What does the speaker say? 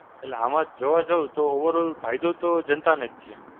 એટલે આમાં જોવા જઉ તો Overall ફાયદો તો જનતાને જ છે.